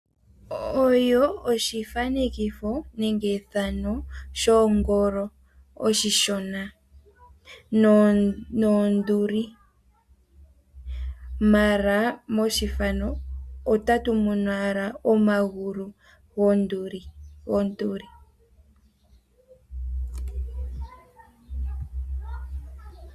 Oyo oshifanekitho nenge ethano lyongolo oshishona nonduli ,mala methano ota tumono owala omagulu gwonduli .